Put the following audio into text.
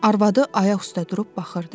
Arvadı ayaq üstə durub baxırdı.